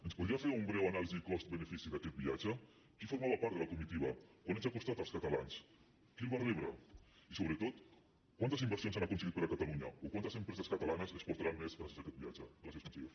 ens podria fer una breu anàlisi cost benefici d’aquest viatge qui formava part de la comitiva quant ens ha costat als catalans qui el va rebre i sobretot quantes inversions han aconseguit per a catalunya o quantes empreses catalanes exportaran més gràcies a aquest viatge gràcies conseller